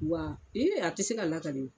Wa i a te se ka lakale.